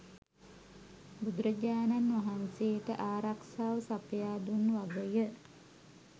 බුදුරජාණන් වහන්සේට ආරක්‍ෂාව සපයා දුන් වග ය.